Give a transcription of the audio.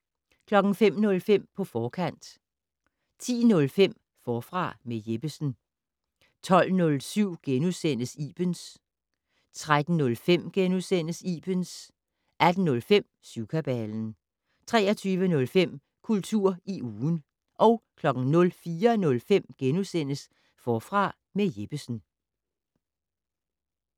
05:05: På forkant 10:05: Forfra med Jeppesen 12:07: Ibens * 13:05: Ibens * 18:05: Syvkabalen 23:05: Kultur i ugen 04:05: Forfra med Jeppesen *